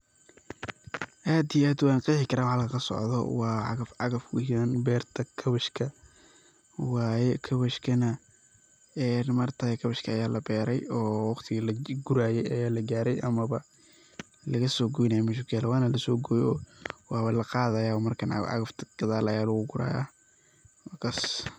aad iyo aad wan qeexi karaa waxa kasocdo, waa cagaf cagaf ujedaan berta kabeshka waye, kabeshkana een ma aragtaye kabeshka aya la beere oo waqtigi laguraye aya la gaare amaba lagasoo goynaye meshuu kuyaale, wana lasoo goyoo waba laqadayabo markan, cagaf cagafta gadal aya lugu guraya, wakaas